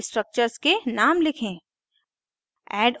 अब structures के names लिखें